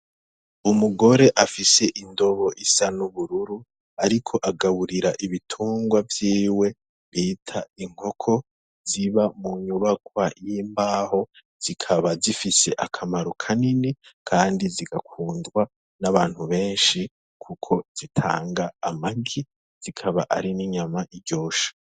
Umugore afise indobo isan'ubururu, ariko agaburira ibitungwa vyiwe bita inkoko ziba mu nyubakwa y'imbaho zikaba zifise akamaro ka nini, kandi zigakundwa n'abantu benshi, kuko zitanga amagi zikaba ari n'inyama iryosha.